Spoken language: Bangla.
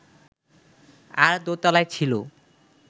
আর দোতলায় ছিল